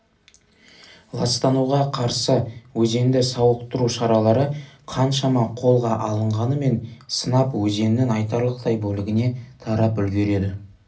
ластануға қарсы өзенді сауықтыру шаралары қаншама қолға алынғанымен сынап өзеннің айтарлықтай бөлігіне тарап үлгереді